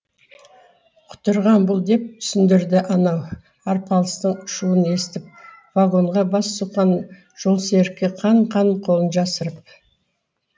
құтырған бұл деп түсіндірді анау арпалыстың шуын естіп вагонға бас сұққан жолсерікке қан қан қолын жасырып